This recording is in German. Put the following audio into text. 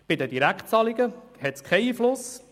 Auf die Direktzahlungen hat sie keinen Einfluss.